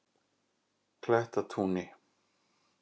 Klettatúni